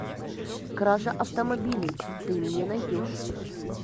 кража автомобилей ты мне найдешь